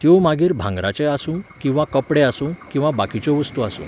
त्यो मागीर भांगराचे आसूं, किंवा कपडे आसूं, किंवा बाकिच्यो वस्तू आसूं.